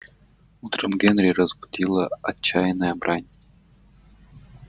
утром генри разбудила отчаянная брань